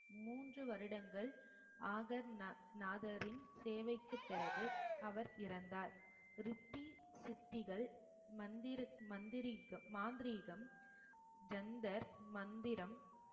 மூன்று வருடங்கள் ஆகர் நா~ நாதரின் சேவைக்குப் பிறகு அவர் இறந்தார் ரித்தி சித்திகள் மந்திரி~ மந்திரிகம் மாந்திரீகம் ஜந்தர் மந்திரம்